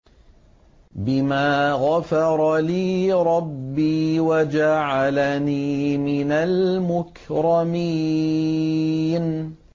بِمَا غَفَرَ لِي رَبِّي وَجَعَلَنِي مِنَ الْمُكْرَمِينَ